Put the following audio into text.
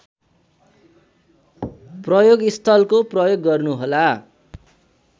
प्रयोगस्थलको प्रयोग गर्नुहोला